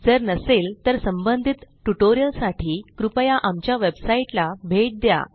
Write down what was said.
जर नसेल तर संबंधित ट्यूटोरियल साठी कृपया आमच्या वेबसाइट httpspoken tutorialorg ला भेट द्या